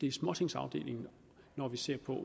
i småtingsafdelingen når vi ser på